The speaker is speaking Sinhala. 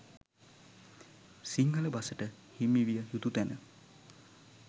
සිංහල බසට හිමිවිය යුතු තැන